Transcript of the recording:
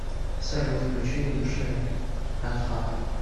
салют включи юша атхап